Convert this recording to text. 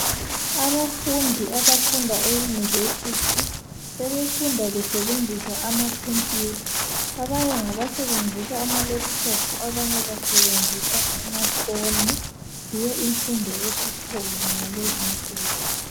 Abafundi abafunda euniversity sebefunda besebenzisa ama computer abanye ngabasebenzisa amalaptop abanye basebenzisa amafoni yiyo imfundo esikhona ngalezinsuku